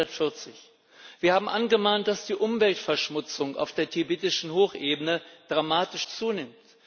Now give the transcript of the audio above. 140. Wir haben angemahnt, dass die Umweltverschmutzung auf der tibetischen Hochebene dramatisch zunimmt.